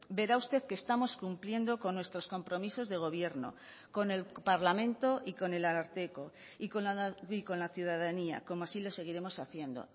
verá usted que estamos cumpliendo con nuestros compromisos de gobierno con el parlamento y con el ararteko y con la ciudadanía como así lo seguiremos haciendo